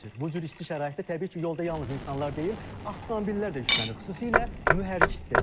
Bu cür isti şəraitdə təbii ki, yolda yalnız insanlar deyil, avtomobillər də yüklənir, xüsusilə mühərrik sistemi.